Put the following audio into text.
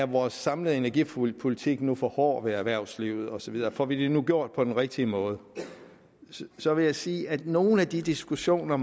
vores samlede energipolitik nu er for hård ved erhvervslivet og så videre får vi det nu gjort på den rigtige måde så vil jeg sige at nogle af de diskussioner